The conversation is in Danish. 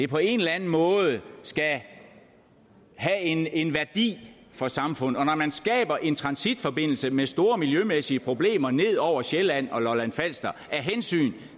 på en eller anden måde skal have en en værdi for samfundet og når man skaber en transitforbindelse med store miljømæssige problemer ned over sjælland og lolland falster af hensyn